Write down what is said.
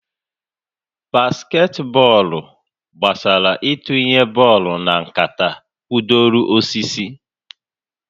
Basketị bọọlụ gbasara itunye bọlụ na nkata kwụdoro osisi